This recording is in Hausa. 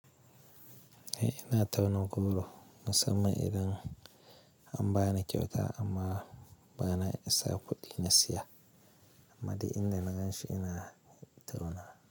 Eh ina tauna goro, musamman idan an bani kyauta amma ba na isa kuɗi na siya, amma dai inda na ganshi ina tauna.